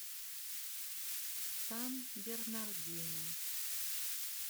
сан бернардино